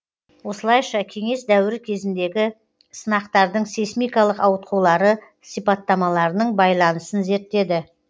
осылайша кеңес дәуірі кезіндегі сынақтардың сейсмикалық ауытқулары сипаттамаларының байланысын зерттеді